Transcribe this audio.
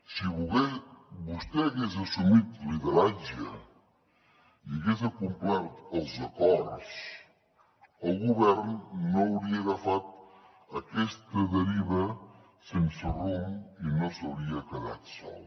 si vostè hagués assumit lideratge i hagués acomplert els acords el govern no hauria agafat aquesta deriva sense rumb i no s’hauria quedat sol